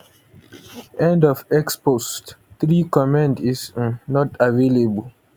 end of x post 3 con ten t is um not available